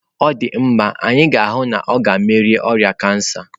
Ọ dị mma, anyị ga-ahụ na ọ ga-emeri oria kansa.